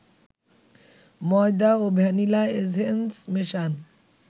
ময়দা ও vanilla essence মেশান